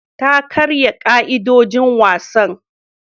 Ta karya ka'idojin wasan.